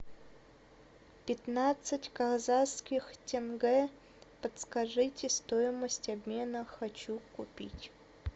пятнадцать казахских тенге подскажите стоимость обмена хочу купить